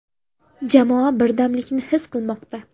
Jamoa birdamlikni his qilmoqda.